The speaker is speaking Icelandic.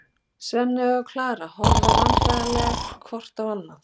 Svenni og Klara horfa vandræðaleg hvort á annað.